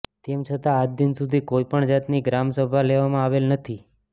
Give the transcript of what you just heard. તેમછતાં આજદિન સુધી કોઇપણ જાતની ગ્રામ સભા લેવામાં આવેલ નથી